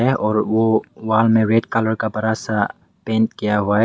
है और वो वहां में रेड कलर का बड़ा सा पेंट किया हुआ है।